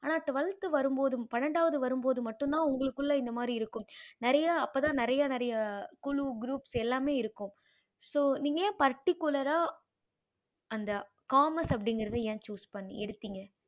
ஆனா twelfth வரும் போது பணடாவது வரும்போது மட்டும் தான் உங்களுக்குள்ள இந்த மாறி இருக்கும் நெறைய அப்போ தான் நெறைய நெறைய குழு group எல்லாமே இருக்கும் so நீங்க ஏன் particular அந்த commerce அப்படிங்கறத ஏன choose பண்ணி எடுத்திங்க